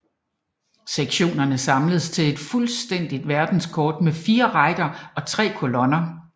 Sektionernes samles til et fuldstændigt verdenskort med fire rækker og tre kolonner